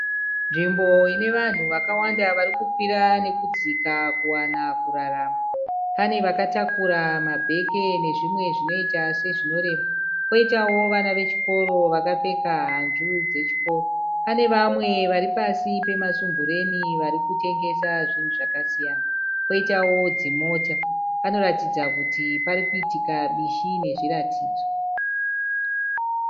Nzvimbo inevanhu vakawanda varikukwira nekudzika kuwana kurarama. Pane vakatakura mabheke nezvimwe zvinoita sezvinorema. Poitawo vana vechikoro vakapfeka hanzu dzechikoro. Pane vamwe varipasi pemasumbureni varikutengesa zvinhu zvakasiyana. Poitawo dzimota. Panoratidza kuti parikuitika bishi mezviratidzo.